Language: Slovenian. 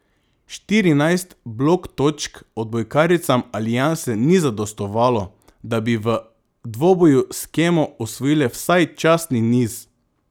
Štirinajst blok točk odbojkaricam Alianse ni zadostovalo, da bi v dvoboju s Kemo osvojile vsaj častni niz.